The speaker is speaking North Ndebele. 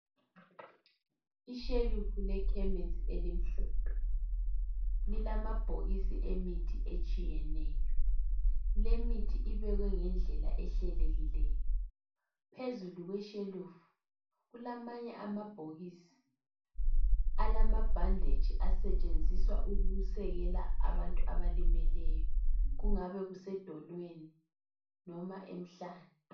ishelufu lekhemisi elimhlophe lilamabhokisi emithi etshiyeneyo le mithi ibekwe ngendlela ehlelekileyo phezulu kweshelufu kulamanye amabhokisi alabhandetshi asetshenziswa ukusekela abantu abalimeleyokungabe kusedolweni loba emhlane